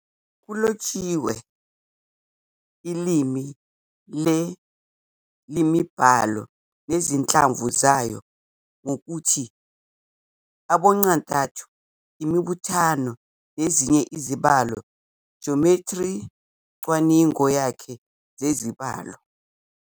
Kulotshiwe ilimi le-IiMbalo, nezinhlamvu zayo ngokuthi aboncantathu, imibuthano, nezinye izibalo Jomethri, " cwaningo yakhe zezibalo